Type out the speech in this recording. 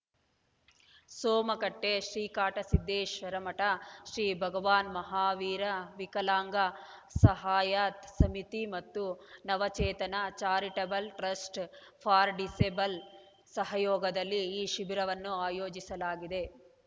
ಸೋಮಕಟ್ಟೆ ಶ್ರೀಕಾಡಸಿದ್ಧೇಶ್ವರ ಮಠ ಶ್ರೀ ಭಗವಾನ್ ಮಹಾವೀರ ವಿಕಲಾಂಗ್ ಸಹಾಯತ ಸಮಿತಿ ಮತ್ತು Navachetana Charitable Trust for Disable ಸಹಯೋಗದಲ್ಲಿ ಈ ಶಿಬಿರವನ್ನು ಆಯೋಜಿಸಲಾಗಿದೆ